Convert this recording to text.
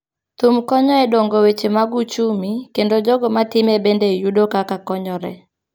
Thum konyo e dongo weche mag uchumi kendo jogo matime bende yudo kaka konyore.